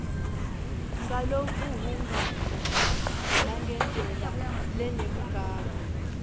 ngalokuhhungako nangendlela lenebugagu